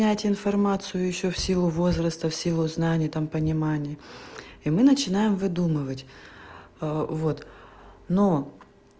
понять информацию ещё в силу возраста в силу знания там понимания и мы начинаем выдумывать вот но